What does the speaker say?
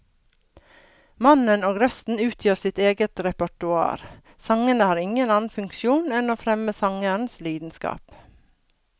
Mannen og røsten utgjør sitt eget repertoar, sangene har ingen annen funksjon enn å fremme sangerens lidenskap.